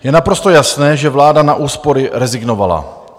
Je naprosto jasné, že vláda na úspory rezignovala.